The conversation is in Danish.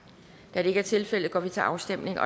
da det ikke er tilfældet går vi til afstemning